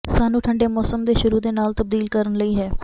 ਸਾਨੂੰ ਠੰਡੇ ਮੌਸਮ ਦੇ ਸ਼ੁਰੂ ਦੇ ਨਾਲ ਤਬਦੀਲ ਕਰਨ ਲਈ ਹੈ